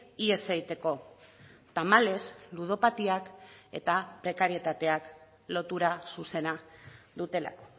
ihes egiteko tamalez ludopatiak eta prekarietateak lotura zuzena dutelako